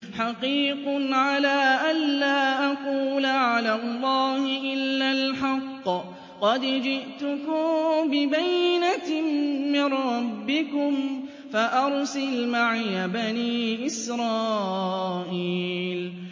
حَقِيقٌ عَلَىٰ أَن لَّا أَقُولَ عَلَى اللَّهِ إِلَّا الْحَقَّ ۚ قَدْ جِئْتُكُم بِبَيِّنَةٍ مِّن رَّبِّكُمْ فَأَرْسِلْ مَعِيَ بَنِي إِسْرَائِيلَ